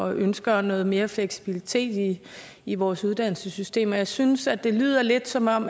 ønsker noget mere fleksibilitet i vores uddannelsessystem og jeg synes at det lyder lidt som om